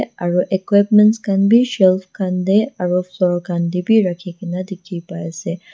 aro equipments khan bi shelf khan tae aro floor khan tae bi rakhikaena dikhipaiase.